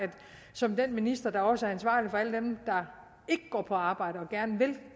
som den minister der også er ansvarlig for alle dem der ikke går på arbejde og gerne vil